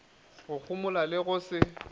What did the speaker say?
go homola le go se